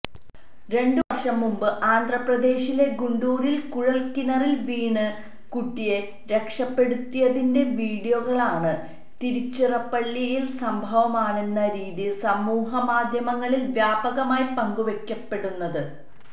രണ്ടുവര്ഷം മുൻപ് ആന്ധ്രപ്രദേശിലെ ഗുണ്ടൂരില് കുഴല്ക്കിണറില് വീണ കുട്ടിയെ രക്ഷപ്പെടുത്തിയതിന്റെ വിഡിയോകളാണ് തിരുച്ചിറപ്പള്ളിയിലെ സംഭവമാണെന്ന രീതിയിൽ സമൂഹമാധ്യമങ്ങളിൽ വ്യാപകമായി പങ്കുവയ്ക്കപ്പെടുന്നത്